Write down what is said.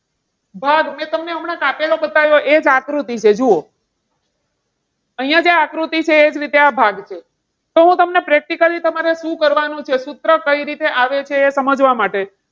ભાગ મેં હમણાં તમને કાપેલું બતાવ્યું એ જ આકૃતિ છે જુઓ. અહીંયા જે આકૃતિ છે એ જ રીતે આ ભાગ છે તો હું તમને practically તમારે શું કરવાનું છે? સૂત્ર કઈ રીતે આવે છે, એ સમજવા માટે.